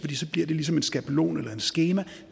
bliver det ligesom en skabelon eller et skema og